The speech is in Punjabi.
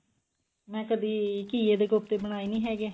ਮੈਂ ਕਦੀ ਘੀਏ ਦੇ ਕੋਫਤੇ ਬਨਾਏ ਨੀ ਹੈਗੇ